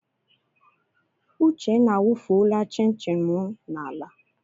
Uchenna awufuola chin chin m n'ala.